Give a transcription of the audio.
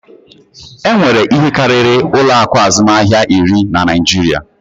E nwere ihe karịrị ụlọ akụ azụmahịa iri na Naịjiria